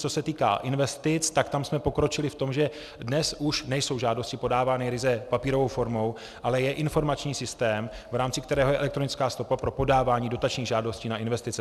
Co se týká investic, tak tam jsme pokročili v tom, že dnes už nejsou žádosti podávány ryze papírovou formou, ale je informační systém, v rámci kterého je elektronická stopa pro podávání dotačních žádostí na investice.